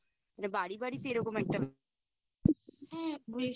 মানে বাড়ি বাড়িতে এরকম একটা